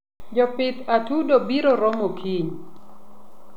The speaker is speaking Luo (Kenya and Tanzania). jopidh atudo broromo kiny